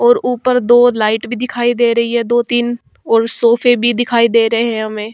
और ऊपर दो लाइट भी दिखाई दे रही हैं। दो-तीन और सोफे भी दिखाई दे रहे हैं हमें ।